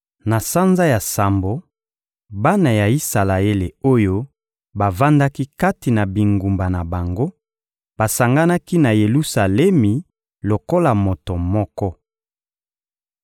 Na sanza ya sambo, bana ya Isalaele oyo bavandaki kati na bingumba na bango basanganaki na Yelusalemi lokola moto moko.